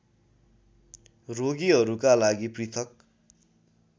रोगीहरूका लागि पृथक्